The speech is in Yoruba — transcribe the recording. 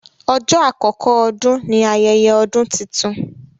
Ọjọ́ àkókò Ọdún ní ayẹyẹ ọdún títún.